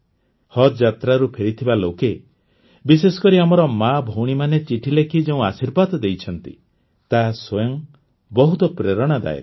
ହଜ୍ ଯାତ୍ରାରୁ ଫେରିଥିବା ଲୋକେ ବିଶେଷକରି ଆମର ମାଆଭଉଣୀମାନେ ଚିଠି ଲେଖି ଯେଉଁ ଆଶୀର୍ବାଦ ଦେଇଛନ୍ତି ତାହା ସ୍ୱୟଂ ବହୁତ ପ୍ରେରଣାଦାୟକ